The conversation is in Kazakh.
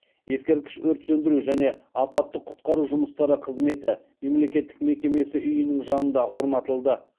ескерткіш өрт сөндіру және апаттық құтқару жұмыстары қызметі мемлекеттік мекемесі үйінің жанында орнатылды